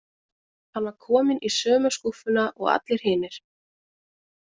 Hann var kominn í sömu skúffuna og allir hinir.